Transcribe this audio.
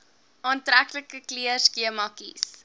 aantreklike kleurskema kies